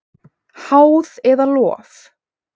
Háð eða lof?